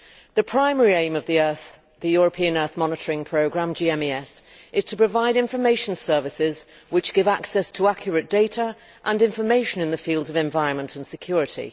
The primary aim of the European Earth Monitoring Programme, GMES, is to provide information services which give access to accurate data and information in the fields of environment and security.